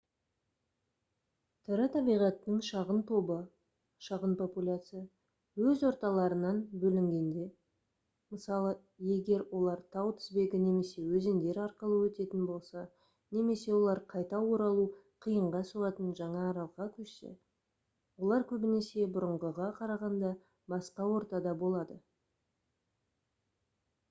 тірі табиғаттың шағын тобы шағын популяция өз орталарынан бөлінгенде мысалы егер олар тау тізбегі немесе өзендер арқылы өтетін болса немесе олар қайта оралу қиынға соғатын жаңа аралға көшсе олар көбінесе бұрынғыға қарағанда басқа ортада болады